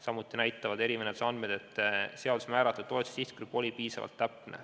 Samuti näitavad erimenetluse andmed, et seaduses määratud toetuste sihtgrupp oli piisavalt täpne.